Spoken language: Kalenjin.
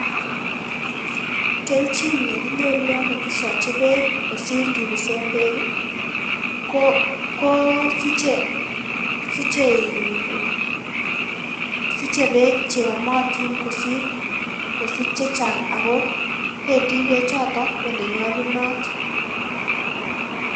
Kelchin neginyoru yon kokisochi beek kosir kibisen beek ii ko koo siche in siche beek cheomotin kosir kosich chechang' ako pendi bechoton olenyolunot.